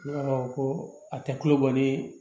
ko a tɛ kulo kɔni ye